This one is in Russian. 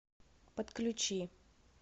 подключи